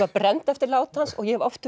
brennd eftir lát hans og ég hef oft